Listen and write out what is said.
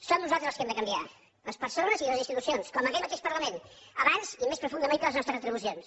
som nosaltres els que hem de canviar les persones i les institucions com aquest mateix parlament abans i més profundament que les nostres retribucions